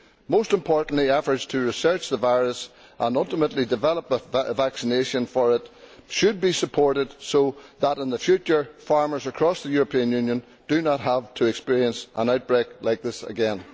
Most importantly, efforts to research the virus and ultimately develop a vaccine for it should be supported so that, in the future, farmers across the European Union do not have to experience an outbreak like this again.